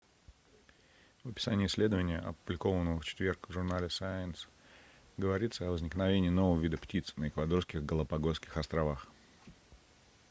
в описании исследования опубликованного в четверг в журнале science говорится о возникновении нового вида птиц на эквадорских галапагосских островах